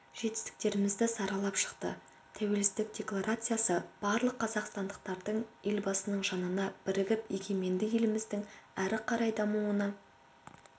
жетістіктерімізді саралап шықты тәуелсіздік декларациясы барлық қазақстандықтардың елбасының жанына бірігіп егеменді еліміздің әрі қарай дамуына